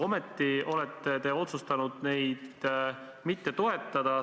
Ometi olete otsustanud neid mitte toetada.